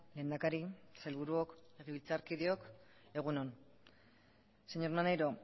lehendakari sailburuok legebiltzarkideok egun on señor maneiro